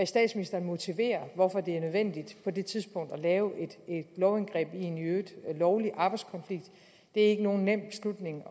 statsministeren motiverer hvorfor det er nødvendigt på det tidspunkt at lave et lovindgreb i en i øvrigt lovlig arbejdskonflikt det er ikke nogen nem beslutning